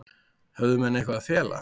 Höfðu menn eitthvað að fela?